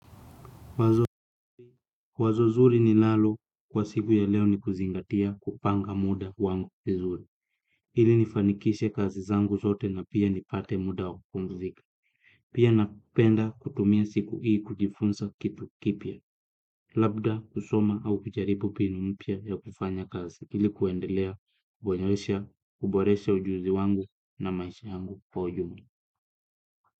Wazo zuri ninalo kwa siku ya leo ni kuzingatia kupanga muda wangu vizuri. Hili nifanikishe kazi zangu zote na pia nipate muda wa kupumzika. Pia napenda kutumia siku hii kujifunzaa kitu kipya. Labda kusoma au kujaribu mpinu mpya ya kufanya kazi. Ili kuendelea, kuboresha ujuzi wangu na maisha yangu kwa ujumla.